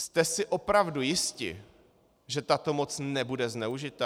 Jste si opravdu jisti, že tato moc nebude zneužita?